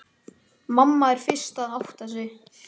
Mamma er fyrst að átta sig